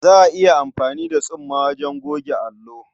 Za a iya amfani da tsumma wajen goge allo.